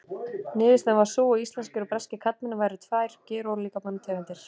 Niðurstaðan var sú að íslenskir og breskir karlmenn væru tvær gerólíkar manntegundir.